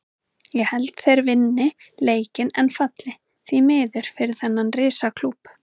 Ég held að þeir vinni leikinn en falli, því miður fyrir þennan risa klúbb.